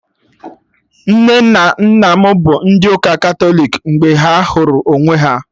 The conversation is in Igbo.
Nne na nna m bụ ndị ụka Katọlik mgbe ha hụrụ onwe ha